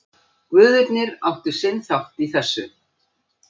Guðirnir áttu sinn þátt í þessu.